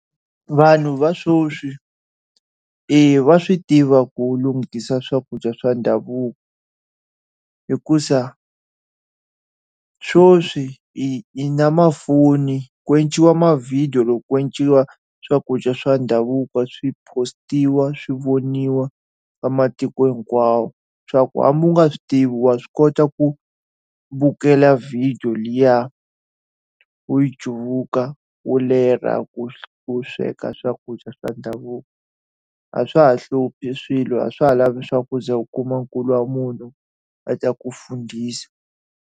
Vanhu va sweswi, eya va swi tiva ku lunghisa swakudya swa ndhavuko. Hikuva sweswi hi hi na mafoni, ku endliwa ma-video loko ku endliwa swakudya swa ndhavuko swi post-iwa, swi voniwa va matiko hinkwawo. Hileswaku hambi u nga swi tivi, wa swi kota ku vukela vhidiyo liya u yi cuvuka u ku ku sweka swakudya swa ndhavuko. A swa ha hluphi swilo, a swa ha lavi leswaku u kuma nkulu wa munhu a ta ku fundisa.